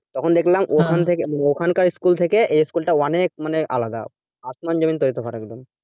তখন দেখলাম ওখানকার ওখানকার school থেকে এই school টা অনেক মানে আলাদা, আসমান জমিন তড়িতফাত একদম